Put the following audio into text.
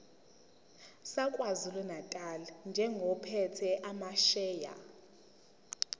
sakwazulunatali njengophethe amasheya